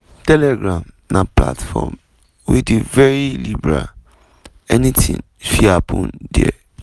"telegram na platform wey dey very liberal anything fit happen dia.